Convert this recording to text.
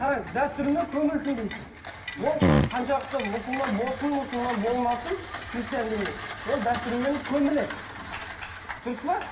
қараңыз дәстүрмен көмілсін дейсіз ол қаншалықты мұсылман болсын мұсылман болмасын христиан діні ол дәстүрмен көміледі дұрыс па